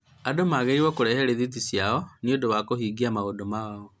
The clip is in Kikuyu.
andũ magĩrĩĩrwo kũrehe rithĩti cio nĩ ũndũ wa kuhingia maũndũ mao.